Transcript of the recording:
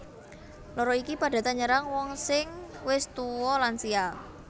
Lara iki padatan nyerang wong sing wis tuwa lansia